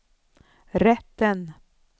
rätten